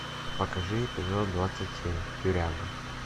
покажи эпизод двадцать семь тюряга